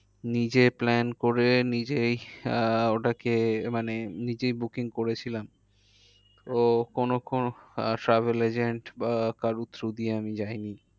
নিজে plan করে নিজেই আহ ওটাকে মানে নিজেই booking করেছিলাম। ও কোনো কোনো আহ travel agent বা কারোর though দিয়ে আমি যায়নি।